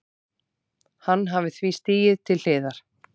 Hann hafi því stigið til hliðar